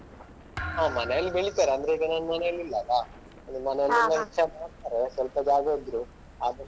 ಹಾ ಮನೇಲಿ ಬೆಳೀತಾರೆ ಅಂದ್ರೆ ಈಗ ನಾನ್ ಮನೇಲಿ ಇಲ್ಲ ಅಲ್ಲಾ ಹೆಚ್ಚಾಗಿ ಮಾಡ್ತಾರೆ ಸ್ವಲ್ಪ ಜಾಗ ಇದ್ರು ಆದಷ್ಟು.